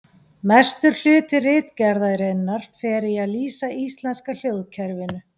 Mestur hluti ritgerðarinnar fer í að lýsa íslenska hljóðkerfinu.